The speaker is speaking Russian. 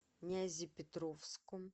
нязепетровском